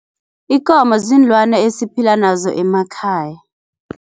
Ikomo ziinlwani esiphila nazo emakhaya.